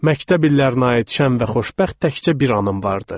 Məktəb illərinə aid şən və xoşbəxt təkcə bir anım vardı.